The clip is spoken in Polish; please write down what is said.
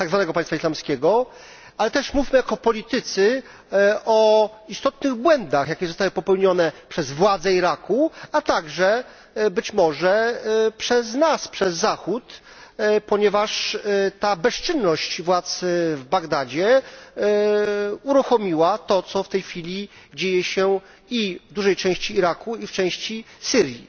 Państwa Islamskiego. Ale też mówmy jako politycy o istotnych błędach, jakie zostały popełnione przez władze Iraku, a także być może przez nas, przez Zachód, ponieważ ta bezczynność władz w Bagdadzie uruchomiła to, co w tej chwili dzieje się i w dużej części Iraku, i w części Syrii.